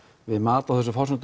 við mat á þessum forsendum